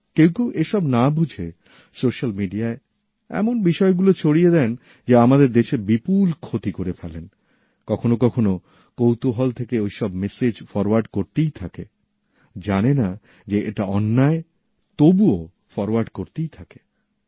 কেউ কেউ এসব না বুঝে স্যোসাল মিডিয়ায় এমন বিষয়গুলো ছড়িয়ে দেন যে আমাদের দেশের তাতে বিপুল ক্ষতি হয়ে যায় কখনো কখনো কৌতূহল থেকে ঐসব মেসেজ ফরোয়ার্ড করা হতেই থাকেজানে যে এটা অন্যায় তবুও ফরোয়ার্ড করতেই থাকে